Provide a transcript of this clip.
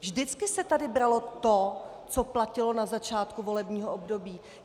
Vždycky se tady bralo to, co platilo na začátku volebního období.